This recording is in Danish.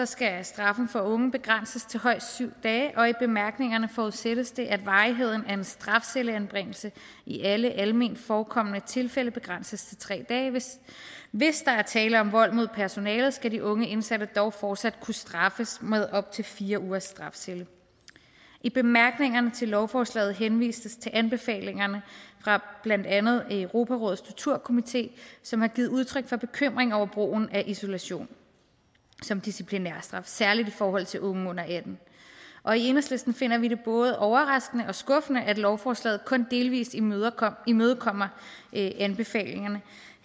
skal straffen for unge begrænses til højst syv dage og i bemærkningerne forudsættes det at varigheden af en strafcelleanbringelse i alle alment forekommende tilfælde begrænses til tre dage hvis hvis der er tale om vold mod personalet skal de unge indsatte dog fortsat kunne straffes med op til fire ugers strafcelle i bemærkningerne til lovforslaget henvises til anbefalingerne fra blandt andet europarådets torturkomité som har givet udtryk for bekymring over brugen af isolation som disciplinærstraf særlig i forhold til unge under atten år i enhedslisten finder vi det både overraskende og skuffende at lovforslaget kun delvis imødekommer imødekommer anbefalingerne